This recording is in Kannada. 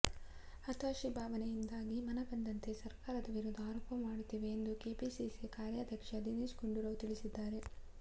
ಹತಾಷೆ ಭಾವನೆಯಿಂದಾಗಿ ಮನಬಂದಂತೆ ಸರಕಾರದ ವಿರುದ್ಧ ಆರೋಪ ಮಾಡುತ್ತಿದೆ ಎಂದು ಕೆಪಿಸಿಸಿ ಕಾರ್ಯಾಧ್ಯಕ್ಷ ದಿನೇಶ್ ಗುಂಡೂರಾವ್ ತಿಳಿಸಿದ್ದಾರೆ